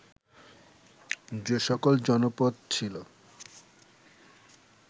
যে সকল জনপদ ছিল